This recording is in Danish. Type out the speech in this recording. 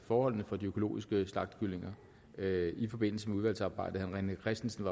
forholdene for de økologiske slagtekalkuner i forbindelse med udvalgsarbejdet herre rené christensen